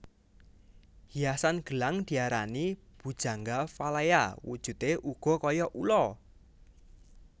Hiasan gelang diarani Bhujangga Valaya wujudé uga kaya ula